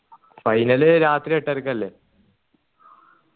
final രാത്രി എട്ടരക്കല്ലേ